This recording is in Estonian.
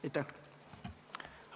Aitäh!